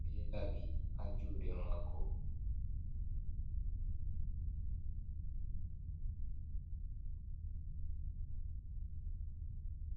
be labi ha jude mako.